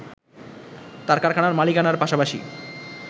তাঁর কারখানার মালিকানার পাশাপাশি